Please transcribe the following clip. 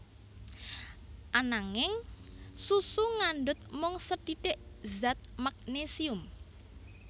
Ananging susu ngandhut mung sethithik zat Magnesium